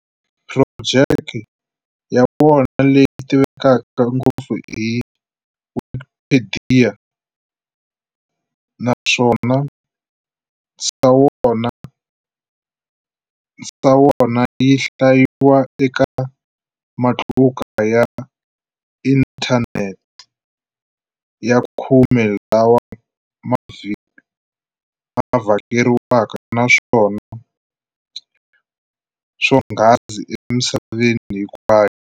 Phurojeki ya wona leyi tivekaka ngopfu i Wikpediya, naswona yinhlayiwa eka matluka ya inthaneti ya khume lawa ma vhakeriwaka naswona swonghasi emisaveni hinkwayo.